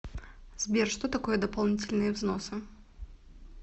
сбер что такое дополнительные взносы